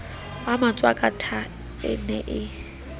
wa matshwakatha e ne e